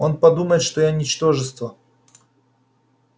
он подумает что я ничтожество